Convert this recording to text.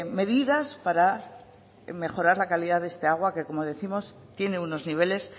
medidas para mejorar la calidad de esta agua que como décimos tiene unos niveles